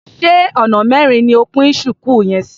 Ṣé ona mẹrin ni o pín ṣùkú yẹn sí?